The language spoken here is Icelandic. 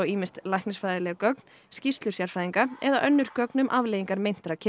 gögn skýrslur sérfræðinga eða önnur gögn um afleiðingar meintra kynferðisbrota